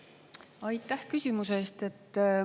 Aitäh küsimuse eest!